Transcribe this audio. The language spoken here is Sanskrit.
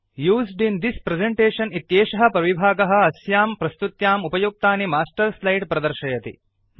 यूज्ड् इन् थिस् प्रेजेन्टेशन् इत्येषः प्रविभागः अस्यां प्रस्तुत्याम् उपयुक्तानि मास्टर् स्लाइड्स् प्रदर्शयति